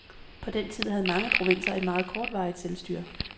På den tid havde mange provinser et meget kortvarigt selvstyre.